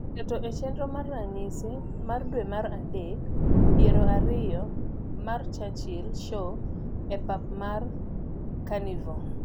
keto e chenro mar ranyisi mar dwe mar adek piero ariyo mar churchil show e pap mar kanivore